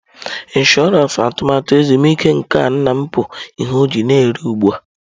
Ịnshọransị atụmatụ ezumike nka nna m bụ ihe ọ ji na eri ugbu a.